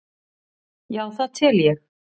Já það tel ég.